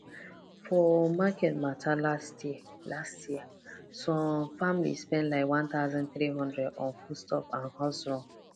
for market matter last year last year some family spend like one thousand three hundred on foodstuff and house run